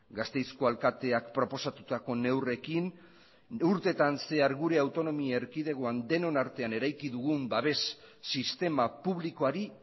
gasteizko alkateak proposatutako neurriekin urteetan zehar gure autonomia erkidegoan denon artean eraiki dugun babes sistema publikoari